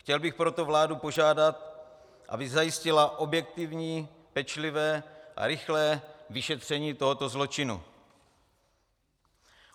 Chtěl bych proto vládu požádat, aby zajistila objektivní, pečlivé a rychlé vyšetření tohoto zločinu.